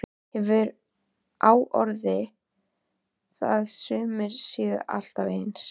Hefur á orði að sumir séu alltaf eins.